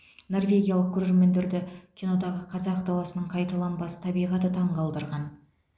норвегиялық көрермендерді кинодағы қазақ даласының қайталанбас табиғаты таңқалдырған